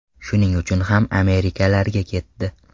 Shuning uchun ham Amirliklarga ketdi.